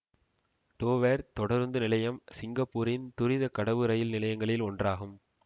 Dover தொடருந்து நிலையம் சிங்கப்பூரின் துரித கடவு ரயில் நிலையங்களில் ஒன்றாகும்